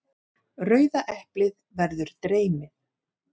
Rauða eplið verður dreymið.